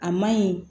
A maɲi